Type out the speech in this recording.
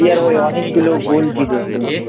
India র হয়ে অনেকগুলো Gold জিতেছে